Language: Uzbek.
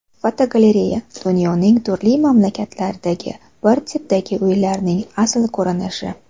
Fotogalereya: Dunyoning turli mamlakatlaridagi bir tipdagi uylarning asl ko‘rinishi.